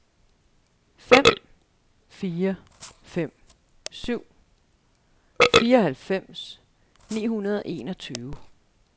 fem fire fem syv fireoghalvfems ni hundrede og enogtyve